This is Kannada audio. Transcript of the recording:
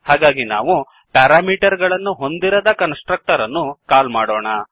ಹಾಗಾಗಿ ನಾವು ಈಗ ಪ್ಯಾರಾಮೀಟರ್ ಗಳನ್ನು ಹೊಂದಿರದ ಕನ್ಸ್ ಟ್ರಕ್ಟರ್ ಅನ್ನುಕಾಲ್ ಮಾಡೋಣ